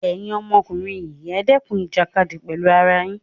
Ẹ̀yin ọmọkùnrin yii ẹ̀ dẹ́kun ìjàkadì pẹ̀lú ara yín!